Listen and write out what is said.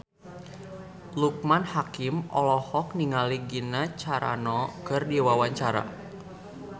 Loekman Hakim olohok ningali Gina Carano keur diwawancara